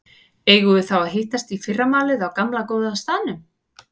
Eigum við þá að hittast í fyrramálið á gamla, góða staðnum?